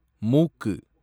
மூக்கு